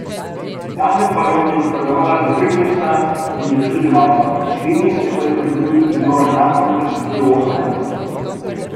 Tanja Fajon je napredovala za tri mesta in je štirinajsta, dve mesti pa je pridobil tudi Zoran Janković, ki je osemnajsti.